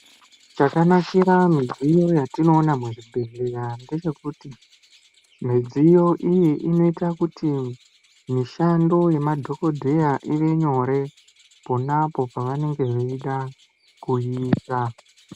Chakanakira midziyo yatinoona muchibhehlera ndechekuti, midziyo iyi inoite kuti mishando yemadhokodheya ive nyore ponapo pavanenge veida kuiisa.